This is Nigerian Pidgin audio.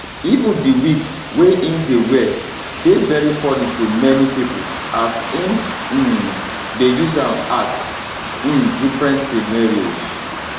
even di wig wey im dey wear dey very funny to many pipo as im um dey use am act um different scenarios